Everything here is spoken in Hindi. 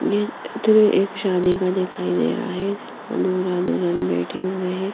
ये चित्र एक शादी का दिखाई दे रहा है और दूल्हा दुल्हन बैठे हुए हैं।